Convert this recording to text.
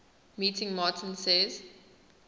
meeting martin says